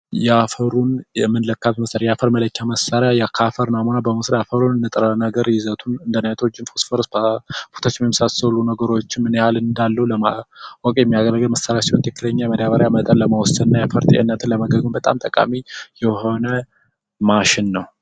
የአፈሩን የመለካት መሠሪያ መለኪያ መሳሪያ ከአፈል ናሙና በመውሰድ ንጥረ ነገር ይዘቱ እንደ ናይትሮጀን፣ ፎስፈረስ ፣ ፖታሺየም የመሳሰሉ ነገሮች ምን ያህል እንዳሉ ዋጋ ለማወቅ የሚያገለግል መሳሪያ ነው። ትክክለኛ መዳበሪያ መጠን ለመወሰን እና የ አፈር ጤንነትን ለመወሰን በጣም ጠቃሚ የሆነ ማሽን ነው።